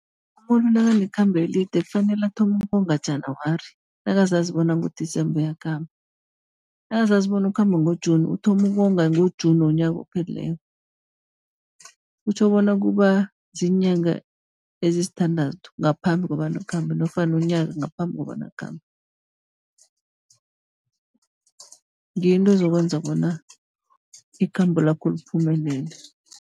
Umuntu nakanekhambo elide kufanele athome ukonga January, nakazazi bona ngo-December uyakhamba. Nakazazi bona ukhamba ngo-June, uthoma ukonga ngo-June womnyaka ophelileko. Kutjho bona kuba ziinyanga ezisithandathu, ngaphambi kobana akhambe nofana unyaka ngaphambi kobana akhambe. Ngiyo into ezokwenza bona ikhambo lakho liphumele.